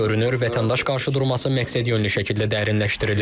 Görünür, vətəndaş qarşıdurması məqsədyönlü şəkildə dərinləşdirilir.